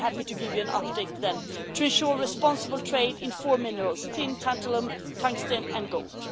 I'll be happy to give you an update then to ensure responsible trade in four minerals tin tantalum, tungsten and gold.